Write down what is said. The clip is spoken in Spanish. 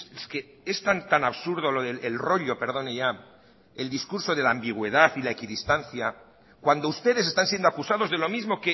es que es tan tan absurdo lo del rollo perdone ya el discurso de la ambigüedad y la equidistancia cuando ustedes están siendo acusados de lo mismo